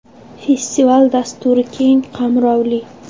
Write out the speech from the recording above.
Festival dasturi keng qamrovli.